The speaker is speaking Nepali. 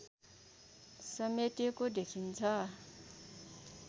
समेटेको देखिन्छ